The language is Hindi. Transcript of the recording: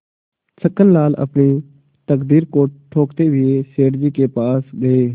छक्कनलाल अपनी तकदीर को ठोंकते हुए सेठ जी के पास गये